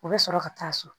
U bɛ sɔrɔ ka taa so